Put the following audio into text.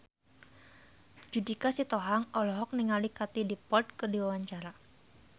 Judika Sitohang olohok ningali Katie Dippold keur diwawancara